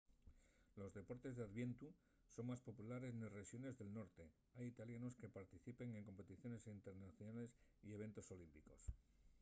los deportes d’iviernu son más populares nes rexones del norte hai italianos que participen en competiciones internacionales y eventos olímpicos